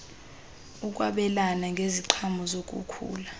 ukwabelana ngeziqhamo zokukhula